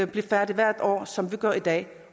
blive færdige hvert år som vi gør i dag